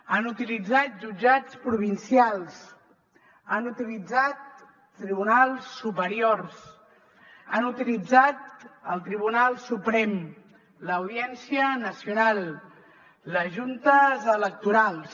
han utilitzat jutjats provincials han utilitzat tribunals superiors han utilitzat el tribunal suprem l’audiència nacional les juntes electorals